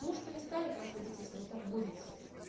муж перестанет вас любить если вы так будете